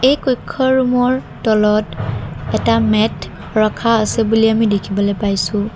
এই কৈক্ষ ৰুম ৰ তলত এটা মেট ৰখা আছে বুলি আমি দেখিবলৈ পাইছোঁ।